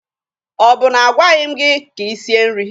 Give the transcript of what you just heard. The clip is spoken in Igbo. Ọ bụ na a gwaghi m gị ka i sie nri?